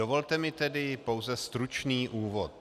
Dovolte mi tedy pouze stručný úvod.